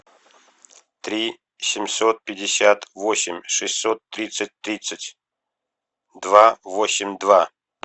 три семьсот пятьдесят восемь шестьсот тридцать тридцать два восемь два